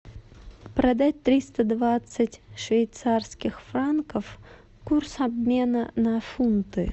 продать триста двадцать швейцарских франков курс обмена на фунты